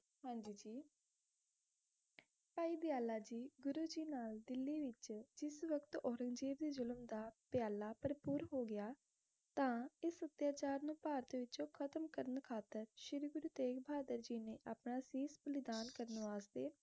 ਭਾਈ ਦਯਾਲਾ ਜੀ ਗੁਰੂ ਜੀ ਨਾਲ ਦਿਲੀ ਵਿਚ ਜਿਸ ਵਕਤ ਔਰੰਗਜੇਬ ਦੇ ਜ਼ੁਲਮ ਦਾ ਪਿਆਲਾ ਭਰਪੂਰ ਹੋ ਗਿਆ ਤਾ ਇਸ ਅਤਿਆਚਾਰ ਨੂੰ ਭਾਰਤ ਵਿੱਚੋ ਖ਼ਤਮ ਕਰਨ ਖਾਤਿਰ ਸ਼੍ਰੀ ਗੁਰੂ ਤੇਗ਼ ਬਹਾਦਰ ਜੀ ਨੇ ਆਪਣਾ ਸੀਸ਼ ਬਲੀਦਾਨ ਕਰਨ ਵਾਸਤੇ